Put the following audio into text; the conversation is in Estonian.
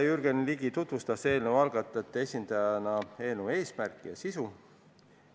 Jürgen Ligi tutvustas eelnõu algatajate esindajana komisjonile eelnõu eesmärki ja sisu.